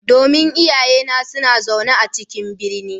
Domin iyayena suna zaune a cikin birni.